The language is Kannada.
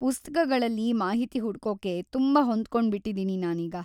ಪುಸ್ತಕಗಳಲ್ಲಿ ಮಾಹಿತಿ ಹುಡ್ಕೋಕೆ ತುಂಬಾ ಹೊಂದ್ಕೊಂಡ್ಬಿಟ್ಟಿದೀನಿ ನಾನೀಗ.